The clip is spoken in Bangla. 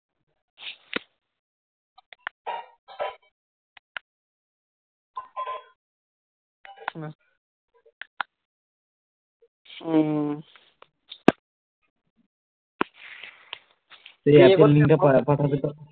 এ এখন